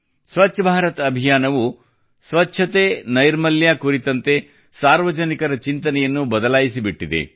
ಸ್ವಚ್ಛ ಭಾರತ ಅಭಿಯಾನವು ಸ್ವಚ್ಛತೆ ನೈರ್ಮಲ್ಯ ಕುರಿತಂತೆ ಸಾರ್ವಜನಿಕರ ಚಿಂತನೆಯನ್ನು ಬದಲಾಯಿಸಿಬಿಟ್ಟಿದೆ